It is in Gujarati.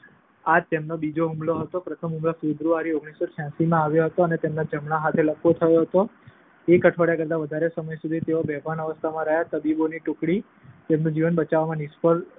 આ તેમનો બીજો હુમલો હતો, પ્રથમ હુમલો ફેબ્રુઆરી ઓગણીસો છ્યાશીમાં આવ્યો હતો અને તેમના જમણા હાથે લકવો થયો હતો. એક અઠવાડિયા કરતાં વધારે સમય સુધી તેઓ બેભાન અવસ્થામાં રહ્યા. તબીબોની ટૂકડી તેમનું જીવન બચાવવામાં નિષ્ફળ